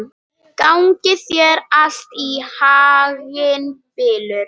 Gangi þér allt í haginn, Bylur.